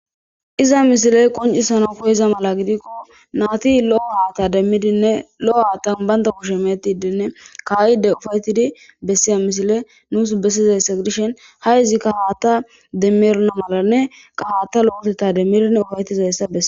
iza mishiley quncisana ukohiza mala gidikko naati lo7o haata demmidinne lo7o haatan baynta kushemetti iddenne kaa7ide ufaytidi bessiya mishile nuus bessizayssa dishen ha izikka haatta demmerna malanne ka haatta lo7oteta demmidinne ufaytizayessa bese